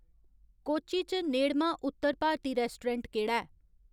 कोच्चि च नेड़मा उत्तर भारती रैस्टोरैंट केह्ड़ा ऐ